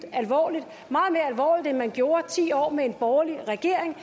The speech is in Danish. alvorligt end man gjorde i ti år med en borgerlig regering